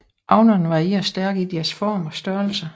Avnerne varierer stærkt i deres form og størrelse